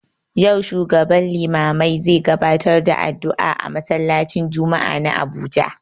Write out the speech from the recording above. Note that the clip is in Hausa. Yau shugaban limamai zai gabatar da addu'a a masallaci n jumma'ah na Abuja